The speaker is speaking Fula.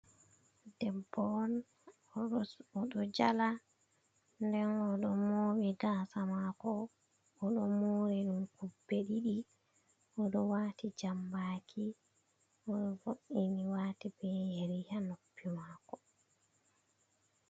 Ɗebbo on oɗo jala. Ɗen oɗo mobi gasa mako. Oɗo mori ɗum kube diɗi. Oɗo wati jambaki ooemi wati be yeriha noppi mako.